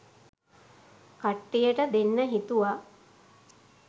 කට්ටියට දෙන්න හිතුවා